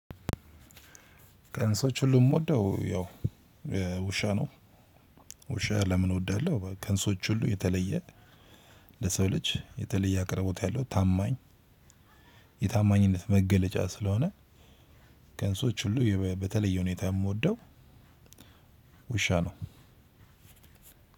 ከእንስሶች ሁሉ የምወደው ያው ውሻ ነው። ውሻ ለምን እወዳለሁ። ከእንስሶች ሁሉ የተለየ ለሰው ልጅ የተለየ አቅርቦት ያለው ታማኝ። የታማኝነት መገለጫ ስለሆነ ከእንስሶች ሁሉ የበ በተለየ ሁኔታ የምወደው ውሻ ነው።